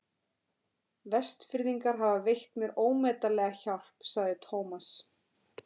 Vestfirðingar hafa veitt mér ómetanlega hjálp sagði Thomas.